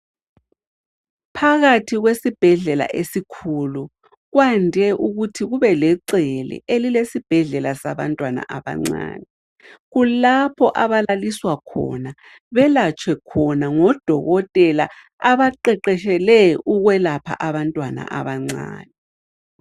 Phakathi kwesibhedlela esikhulu ,kwande ukuthi kubelecele elilesibhedlela sabantwana abancani. Kulapho abalaliswa khona, belatshwe khona ngodokothela abaqeqetshele ukwelapha abantwana abancani.